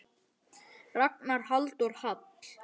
Ragnar Halldór Hall.